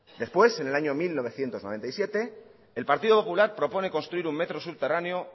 después en el año mil novecientos noventa y siete el partido popular propone construir un metro subterráneo